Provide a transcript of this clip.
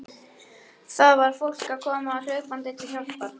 Það var fólk að koma hlaupandi til hjálpar.